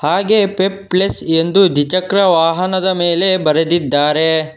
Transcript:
ಹಾಗೆ ಫೆಪ್ ಪ್ಲೆಸ್ ಎಂದು ದ್ವಿ ಚಕ್ರ ವಾಹನದ ಮೇಲೆ ಬರೆದಿದ್ದಾರೆ.